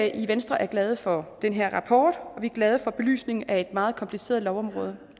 i venstre er glade for den her rapport og vi er glade for belysningen af et meget kompliceret lovområde